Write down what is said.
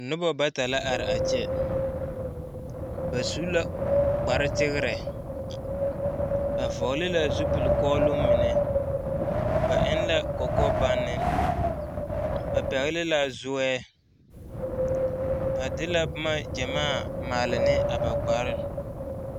Noba bata la are a kyɛ ba su la kpare tegrɛ ba vɔgle la zupile kɔɔloŋ mine ba eŋ la kɔkɔ banne ba pɛgle la zɔɛ ba de la noma gyamaa a maale ne ba kpare.